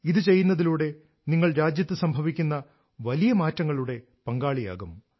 ഇത് ചെയ്യുന്നതിലൂടെ നിങ്ങൾ രാജ്യത്ത് സംഭവിക്കുന്ന വലിയ മാറ്റങ്ങളുടെ പങ്കാളിയാകും